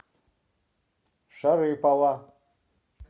шарыпово